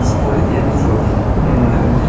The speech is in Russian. споре я видел людей